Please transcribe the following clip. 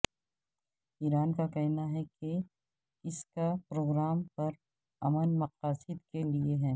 ایران کا کہنا ہے کہ اس کا پروگرام پر امن مقاصد کے لیئے ہے